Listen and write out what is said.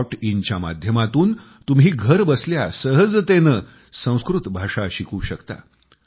in च्या माध्यमातून तुम्ही घर बसल्या सहजतेने संस्कृत भाषा शिकू शकता